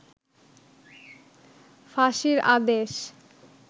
ফাঁসির আদেশ